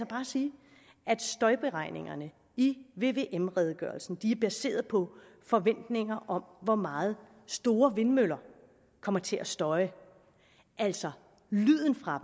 bare sige at støjberegningerne i vvm redegørelsen er baseret på forventninger om hvor meget store vindmøller kommer til at støje altså lyden fra